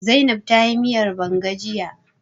Zainab ta yi miyar banga jiya